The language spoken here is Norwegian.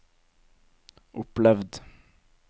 opplevd